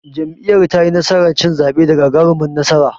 Jam'iyyar tayi nasarar cin zaɓe da gagarumar nasara.